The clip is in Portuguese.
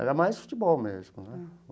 Era mais futebol mesmo, né?